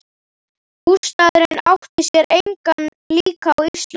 Bústaðurinn átti sér engan líka á Íslandi.